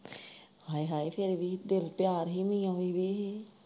ਹਾਏ ਹਾਏ ਫਿਰ ਵੀ ਤੁਰ ਤਿਆਰ ਹੀ ਨੀ ਆਉਣ ਦੀ ਹੀ।